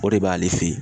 O de b'ale fɛ yen